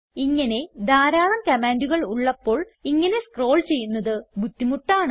ഇങ്ങനെ ധാരാളം കമാൻഡുകൾ ഉള്ളപ്പോൾ ഇങ്ങനെ സ്ക്രോൾ ചെയ്യുന്നത് ബുദ്ധിമുട്ടാണ്